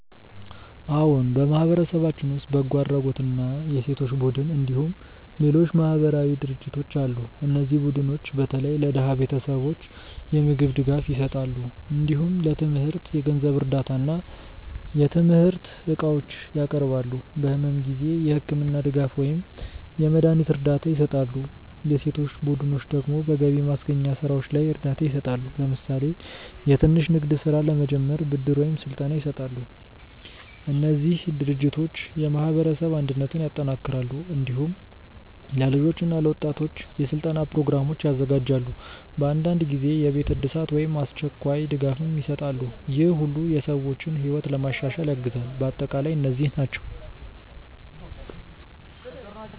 አዎን፣ በማህበረሰባችን ውስጥ በጎ አድራጎት እና የሴቶች ቡድኖች እንዲሁም ሌሎች ማህበራዊ ድርጅቶች አሉ። እነዚህ ቡድኖች በተለይ ለድሃ ቤተሰቦች የምግብ ድጋፍ ይሰጣሉ። እንዲሁም ለትምህርት የገንዘብ እርዳታ እና የትምህርት እቃዎች ያቀርባሉ። በሕመም ጊዜ የሕክምና ድጋፍ ወይም የመድሀኒት እርዳታ ይሰጣሉ። የሴቶች ቡድኖች ደግሞ በገቢ ማስገኛ ስራዎች ላይ እርዳታ ይሰጣሉ። ለምሳሌ የትንሽ ንግድ ስራ ለመጀመር ብድር ወይም ስልጠና ይሰጣሉ። እነዚህ ድርጅቶች የማህበረሰብ አንድነትን ያጠናክራሉ። እንዲሁም ለልጆች እና ለወጣቶች የስልጠና ፕሮግራሞች ያዘጋጃሉ። በአንዳንድ ጊዜ የቤት እድሳት ወይም አስቸኳይ ድጋፍም ይሰጣሉ። ይህ ሁሉ የሰዎችን ሕይወት ለማሻሻል ያግዛል። በአጠቃላይ እነዚህ ናቸው